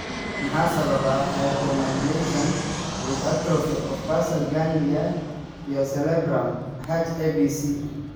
Maxaa sababa hypomyelination with atrophy of basal ganglia iyo cerebellum (H ABC)?